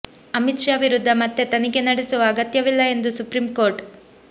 ಅಮಿತ್ ಷಾ ವಿರುದ್ಧ ಮತ್ತೆ ತನಿಖೆ ನಡೆಸುವ ಅಗತ್ಯವಿಲ್ಲ ಎಂದು ಸುಪ್ರೀಂ ಕೋರ್ಟ್